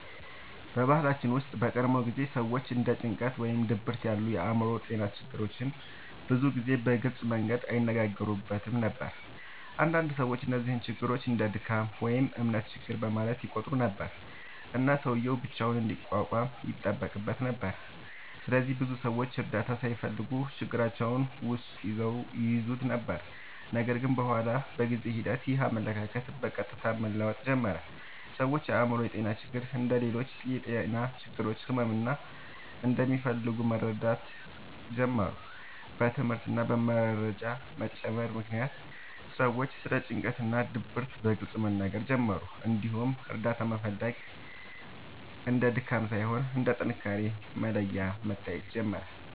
በባህላችን ውስጥ በቀድሞ ጊዜ ሰዎች እንደ ጭንቀት ወይም ድብርት ያሉ የአእምሮ ጤና ችግሮችን ብዙ ጊዜ በግልጽ መንገድ አይነጋገሩበትም ነበር። አንዳንድ ሰዎች እነዚህን ችግሮች እንደ “ድካም” ወይም “እምነት ችግር” በማለት ይቆጥሩ ነበር፣ እና ሰውዬው ብቻውን እንዲቋቋም ይጠበቅበት ነበር። ስለዚህ ብዙ ሰዎች እርዳታ ሳይፈልጉ ችግራቸውን ውስጥ ይይዙ ነበር። ነገር ግን በኋላ በጊዜ ሂደት ይህ አመለካከት በቀስታ መለወጥ ጀመረ። ሰዎች የአእምሮ ጤና ችግሮች እንደ ሌሎች የጤና ችግሮች ሕክምና እንደሚፈልጉ መረዳት ጀመሩ። በትምህርት እና በመረጃ መጨመር ምክንያት ሰዎች ስለ ጭንቀት እና ድብርት በግልጽ መናገር ጀመሩ፣ እንዲሁም እርዳታ መፈለግ እንደ ድካም ሳይሆን እንደ ጥንካሬ መለያ መታየት ጀመረ።